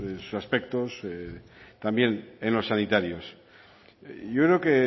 en todos sus aspectos también en los sanitarios yo creo